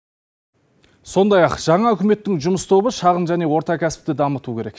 сондай ақ жаңа үкіметтің жұмыс тобы шағын және орта кәсіпті дамыту керек